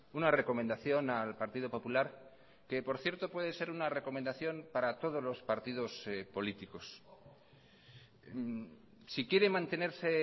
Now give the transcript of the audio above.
una recomendación al partido popular que por cierto puede ser una recomendación para todos los partidos políticos si quiere mantenerse